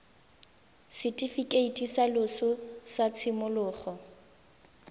setifikeiti sa loso sa tshimologo